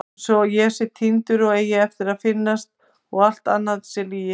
Einsog ég sé týndur og eigi eftir að finnast og allt annað sé lygi.